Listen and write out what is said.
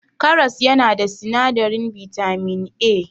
Karas yana da sinadarin bitamin A.